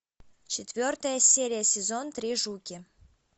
четвертая серия сезон три жуки